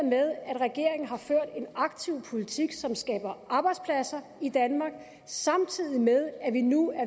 regeringen har ført en aktiv politik som skaber arbejdspladser i danmark samtidig med at vi nu er